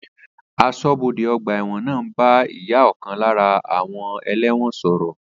Asọ́bodè ọgbà ẹ̀wọ̀n náà ń bá ìyá ọ̀kan lára àwọn ẹlẹ́wọ̀n